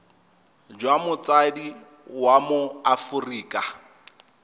jwa motsadi wa mo aforika